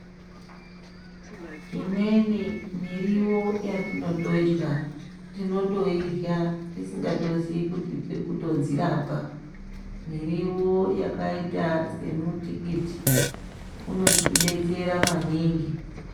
Imweni miriwo yatinotodya tinotoyidya tisingatoziye kuti tirikutodzirapa miriwo yakaita semutikiti unotibetsera manhingi